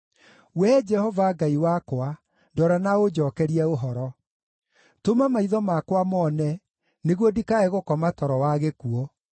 Wee Jehova, Ngai wakwa, ndora na ũnjookerie ũhoro. Tũma maitho makwa mone, nĩguo ndikae gũkoma toro wa gĩkuũ;